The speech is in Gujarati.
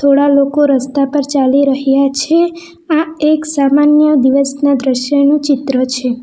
થોડા લોકો રસ્તા પર ચાલી રહ્યા છે આ એક સામાન્ય દિવસના દ્રશ્યનું ચિત્ર છે.